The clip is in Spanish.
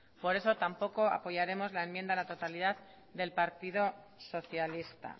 por eso tampoco apoyaremos la enmienda a la totalidad del partido socialista